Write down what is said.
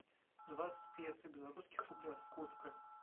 двадцать песо в белорусских рублях сколько